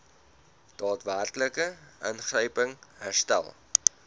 daadwerklike ingryping herstel